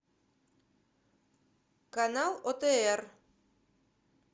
канал отр